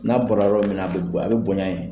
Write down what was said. N'a bɔra yɔrɔ min na a bɛ a bɛ bonya yen